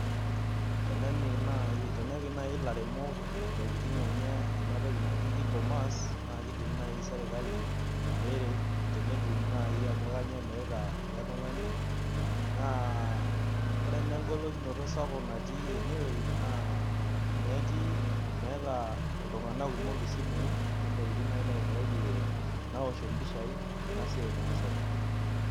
Tenepik naai ilairemok ntokitin enye ena toki naji e comerce naa kiidim naai sirkali neret tentum naai ajo kainyioo emirita ele tung'ani naa Ore naa engolikinoto sapuk natii enewueji naa meeta iltung'anak kumok isimui ontokitin naai naoshie mpishai ena siai naasita.